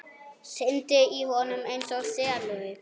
Syndi í honum einsog selur.